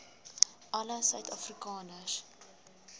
alle suid afrikaners